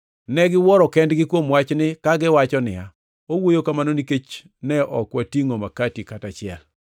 Ne giwuoyo kendgi kuom wachni, kagiwacho niya, “Owuoyo kamano nikech ne ok watingʼo makati kata achiel.”